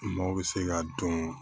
Maaw bɛ se ka dɔn